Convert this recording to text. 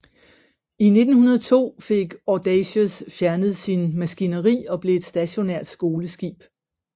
I 1902 fik Audacious fjernet sin maskineri og blev et stationært skoleskib